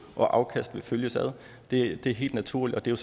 og afkast vil følges ad det er helt naturligt og det er